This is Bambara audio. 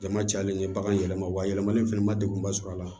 Jama cayalen ye bagan yɛlɛma yɛlɛmani fana ma degunba sɔrɔ a la